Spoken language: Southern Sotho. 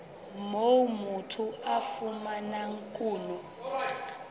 moo motho a fumanang kuno